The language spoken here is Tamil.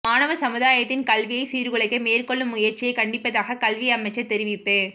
மாணவ சமுதாயத்தின் கல்வியை சீர்குலைக்க மேற்கொள்ளும் முயற்சியை கண்டிப்பதாக கல்வி அமைச்சர் தெரிவிப்பு